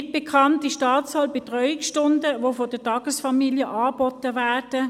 Nicht bekannt ist die Anzahl Betreuungsstunden, die von den Tagesfamilien angeboten werden.